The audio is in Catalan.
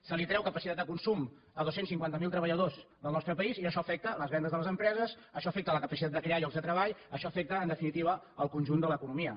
es treu capacitat de consum a dos cents i cinquanta miler treballadors del nostre país i això afecta les vendes de les empreses això afecta la capacitat de crear llocs de treball això afecta en definitiva el conjunt de l’economia